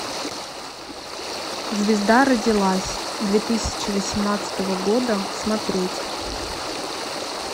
звезда родилась две тысячи восемнадцатого года смотреть